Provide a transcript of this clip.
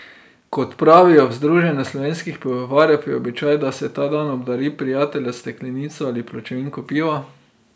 Kot pravijo v Združenju slovenskih pivovarjev je običaj, da se ta dan obdari prijatelja s steklenico ali pločevinko piva.